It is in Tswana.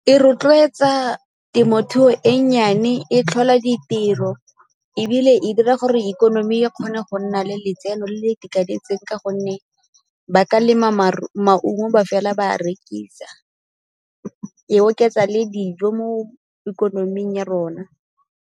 E rotloetsa temothuo e nnyane, e tlhola ditiro ebile e dira gore ikonomi e kgone go nna le letseno le le itekanetseng ka gonne ba ka lema maungo ba fela ba a rekisa, e oketsa le dijo mo ikonoming ya rona.